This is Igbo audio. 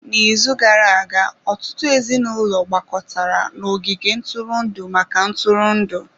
N'izu gara-aga, ọtụtụ ezinụlọ gbakọtara n'ogige ntụrụndụ maka ntụrụndụ.